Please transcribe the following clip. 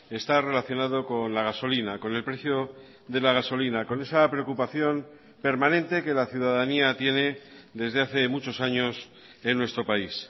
está relacionado con la gasolina con el precio de la gasolina con esa preocupación permanente que la ciudadanía tiene desde hace muchos años en nuestro país